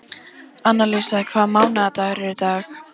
Annalísa, hvaða mánaðardagur er í dag?